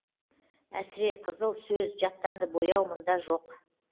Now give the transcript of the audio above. әсіреқызыл сөз жаттанды бояу мұнда жоқ